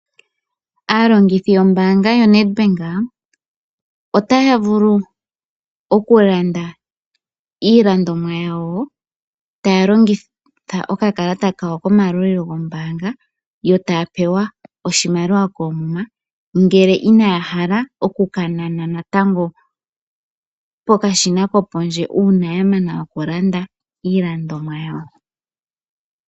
Aalongithi yombaanga yoNedbank otaya vulu okulanda iilandomwa yawo taya longitha okakalata kawo kimayalulilo gombaanga yo ta pewa oshimaliwa koomuma ngele inaya hala okukanana natango pokashina kopondje uuna ya mana okulanda iilandomwa yawo.